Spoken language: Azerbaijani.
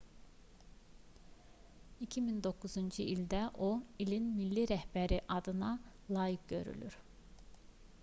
2009-cu ildə o i̇lin milli rəhbəri adına layiq görülür